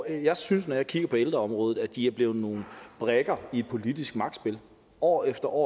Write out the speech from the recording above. jeg synes når jeg kigger på ældreområdet at de ældre er blevet nogle brikker i et politisk magtspil år efter år